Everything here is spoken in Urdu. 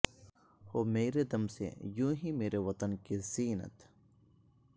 ہو میرے دم سے یوں ہی میرے وطن کی زینت